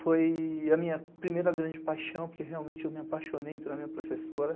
Foi a minha primeira grande paixão, porque realmente eu me apaixonei pela minha professora.